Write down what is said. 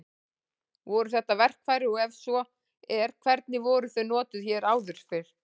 Voru þetta verkfæri og ef svo er hvernig voru þau notuð hér áður fyrr?